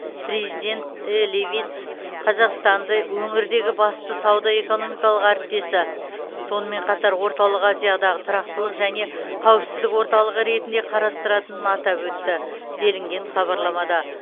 президент э левитс қазақстанды өңірдегі басты сауда экономикалық әріптесі сонымен қатар орталық азиядағы тұрақтылық және қауіпсіздік орталығы ретінде қарастыратынын атап өтті делінген хабарламада